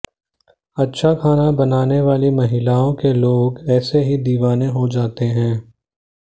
अच्छा खाना बनाने वाली महिलाओं के लोग ऐसे ही दीवाने हो जाते हैं